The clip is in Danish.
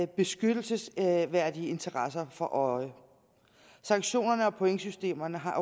beskyttelsesværdige interesser for øje sanktionerne og pointsystemerne har